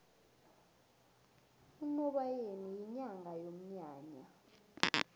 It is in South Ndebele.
unobayeni yinyanga yomnyanya